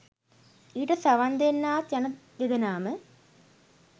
ඊට සවන් දෙන්නාත් යන දෙදෙනාම